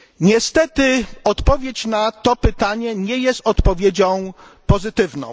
Niestety odpowiedź na to pytanie nie jest odpowiedzią pozytywną.